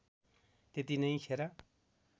त्यति नै खेर